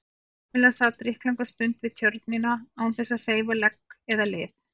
Kamilla sat drykklanga stund við Tjörnina án þess að hreyfa legg eða lið.